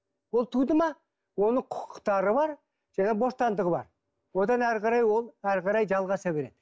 ол туды ма оның құқықтары бар және бостандығы бар одан әрі қарай ол әрі қарай жалғаса береді